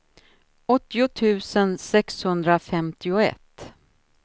åttio tusen sexhundrafemtioett